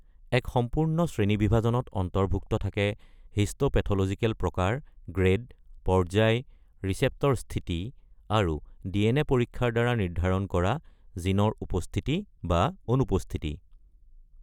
এক সম্পূৰ্ণ শ্ৰেণীবিভাজনত অন্তৰ্ভুক্ত থাকে হিষ্টোপেথলজিকেল প্ৰকাৰ, গ্ৰেড, পৰ্যায়, ৰিচেপ্টৰ স্থিতি, আৰু ডিএনএ পৰীক্ষাৰ দ্বাৰা নিৰ্ধাৰণ কৰা জিনৰ উপস্থিতি বা অনুপস্থিতি।